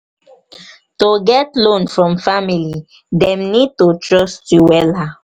to get loan from family dem need to trust you wella